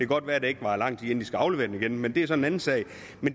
godt være at det ikke varer lang tid før de skal aflevere dem igen men det er så en anden sag